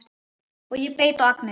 Og ég beit á agnið